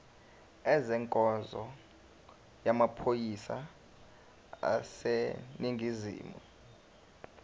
ezenkonzo yamaphoyisa aseningizimu